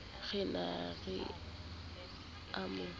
re na ke a mo